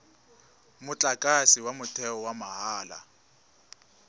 motlakase wa motheo wa mahala